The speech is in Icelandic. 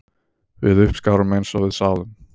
Við uppskárum eins og við sáðum